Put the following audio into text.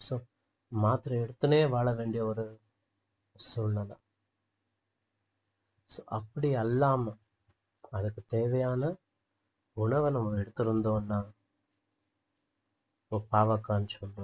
so மாத்திரை எடுத்துன்னே வாழவேண்டிய ஒரு சூழ்நிலை so அப்படி அல்லாம அதற்கு தேவையான உணவை நம்ம எடுத்திருந்தோன்னா இப்போ பாவக்கான்னு சொல்றோம்